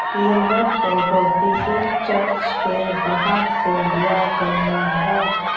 यह फोटो किसी चर्च के बाहर से लिया गया है।